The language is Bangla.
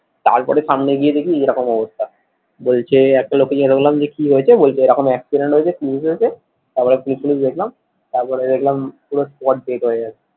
তারপরে সামনে গিয়ে দেখি এরকম অবস্থা, বলছে একটা লোক কে দেখে বললাম যে কি হয়েছে বলছে এই রকম accident হয়েছে পুলিশ এসেছে তার পরে পুলিশ টুলিস দেখলাম। তার পরে দেখলাম পুরো spot dead হয়ে গেছে।